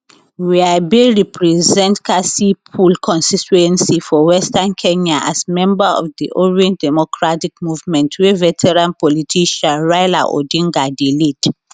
were bin represent kasipul constituency for western kenya as member of di orange democratic movement wey veteran politician raila odinga dey lead